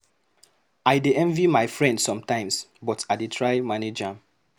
I dey envy my friend sometimes, but I dey try to manage am.